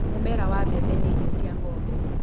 Mũmera wa mbembe nĩ irio cia ng'ombe.